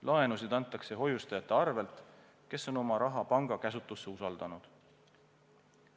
Laenusid antakse hoiustajate arvel, kes on oma raha panga käsutusse usaldanud.